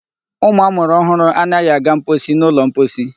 Ụmụ amụrụ ọhụrụ anaghị aga mposi n'ụlọ mposi.